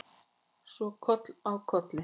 Og svo koll af kolli.